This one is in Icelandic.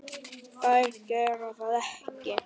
Þær gera það ekki.